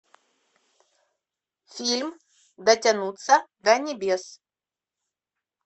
фильм дотянуться до небес